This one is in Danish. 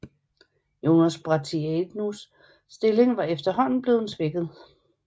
Jonel Bratianus stilling var efterhånden bleven svækket